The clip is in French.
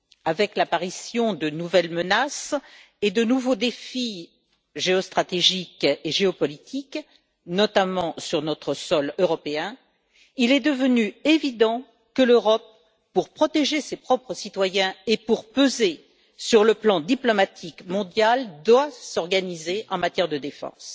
Avec l'apparition de nouvelles menaces et de nouveaux défis géostratégiques et géopolitiques notamment sur notre sol européen il est devenu évident que l'Europe, pour protéger ses propres citoyens et pour peser sur le plan diplomatique mondial, doit s'organiser en matière de défense.